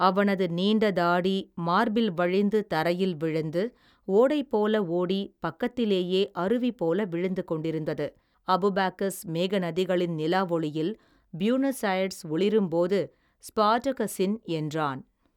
அவனது நீண்ட தாடி மார்பில் வழிந்து தரையில் விழுந்து ஓடைபோல ஓடி பக்கத்திலேயே அருவி போல விழுந்துகொண்டிருந்தது அபாகுபாக்கஸ் மேகநதிகளின் நிலாவெளியில் புயூணஸ் அயேர்ஸ் ஒளிரும்போது ஸ்பார்டகஸின் என்றான்.